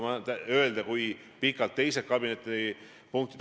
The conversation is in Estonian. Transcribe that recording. Nüüd teie konkreetsema küsimuse juurde.